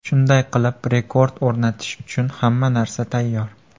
Shunday qilib, rekord o‘rnatish uchun hamma narsa tayyor.